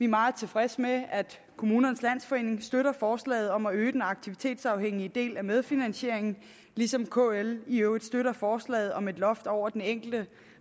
meget tilfredse med at kommunernes landsforening støtter forslaget om at øge den aktivitetsafhængige del af medfinansieringen ligesom kl i øvrigt støtter forslaget om et loft over den enkelte